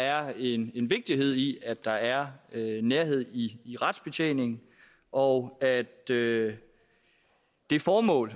er en vigtighed i at der er nærhed i i retsbetjeningen og at det det formål